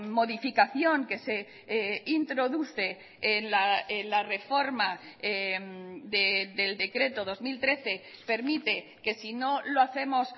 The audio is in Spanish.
modificación que se introduce en la reforma del decreto dos mil trece permite que si no lo hacemos